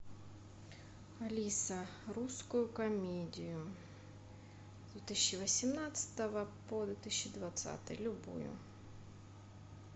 алиса русскую комедию с две тысячи восемнадцатого по две тысячи двадцатый любую